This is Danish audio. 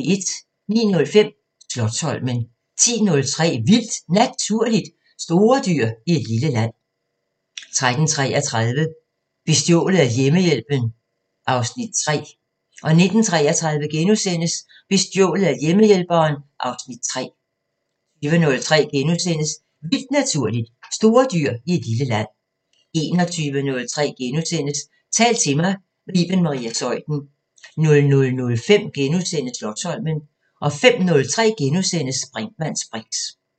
09:05: Slotsholmen 10:03: Vildt Naturligt: Store dyr i et lille land 13:33: Bestjålet af hjemmehjælperen (Afs. 3) 19:33: Bestjålet af hjemmehjælperen (Afs. 3)* 20:03: Vildt Naturligt: Store dyr i et lille land * 21:03: Tal til mig – med Iben Maria Zeuthen * 00:05: Slotsholmen * 05:03: Brinkmanns briks *